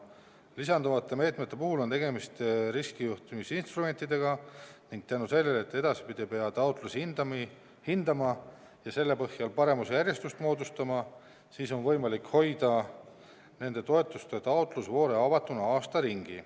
Lisanduvate meetmete puhul on tegemist riskijuhtimisinstrumentidega ning tänu sellele, et edaspidi ei pea taotlusi hindama ja selle põhjal paremusjärjestust moodustama, on võimalik hoida nende toetuste taotlusvoore avatuna aasta ringi.